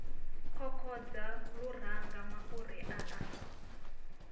kokodza luranga mafhuri a a